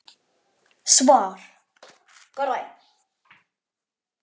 Svar: Grænn